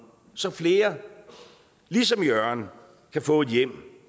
så flere ligesom jørgen kan få et hjem